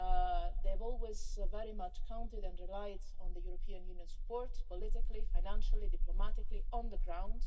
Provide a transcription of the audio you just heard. They have always very much counted and relied upon the European Union support politically, financially, diplomatically, and on the ground.